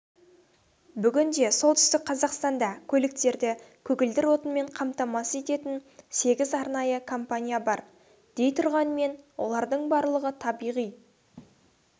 бүгінде солтүстік қазақстанда көліктерді көгілдір отынмен қамтамасыз ететін сегіз арнайы компания бар дейтұрғанмен олардың барлығы табиғи